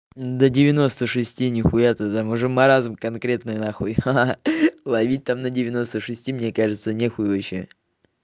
да девяносто шести нехуя ты там уже маразм конкретное нахуй ха-ха ловить там на девяносто шести мне кажется не хуй вообще